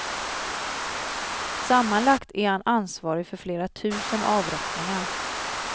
Sammanlagt är han ansvarig för flera tusen avrättningar.